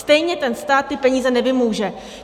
Stejně ten stát ty peníze nevymůže!